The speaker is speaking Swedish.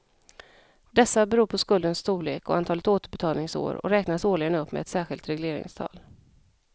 Dessa beror på skuldens storlek och antalet återbetalningsår och räknas årligen upp med ett särskilt regleringstal.